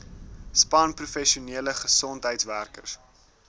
span professionele gesondheidswerkers